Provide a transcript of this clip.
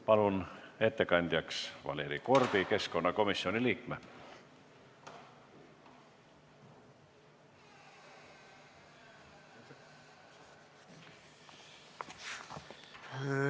Palun ettekandjaks Valeri Korbi, keskkonnakomisjoni liikme!